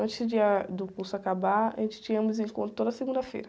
Antes de, ah, do curso acabar, a gente tinha desencontro toda segunda-feira.